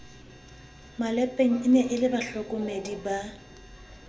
malepeng e le bahlokomedi ba